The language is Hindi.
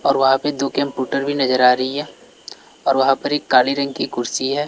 और वहां पे दो कंप्यूटर भी नजर आ रही है और वहां पर एक काले रंग की कुर्सी है।